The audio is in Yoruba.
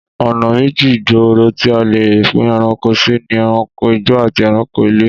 Ọ̀nà méjì gbòòrò tí a lè pín ẹranko sì ni ẹranko igbó àti ẹranko ilé